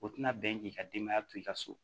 O tina bɛn k'i ka denbaya to i ka so